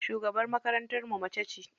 Shugabar makarantar mu macece.